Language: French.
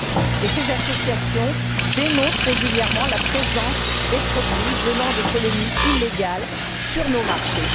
et ces associations dénoncent régulièrement la présence de produits venant des colonies illégales sur nos marchés.